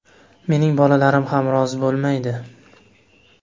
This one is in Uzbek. Mening bolalarim ham rozi bo‘lmaydi.